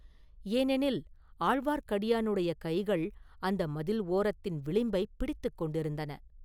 ஏனெனில், ஆழ்வார்க்கடியானுடைய கைகள் அந்த மதில் ஓரத்தின் விளிம்பைப் பிடித்துக் கொண்டிருந்தன.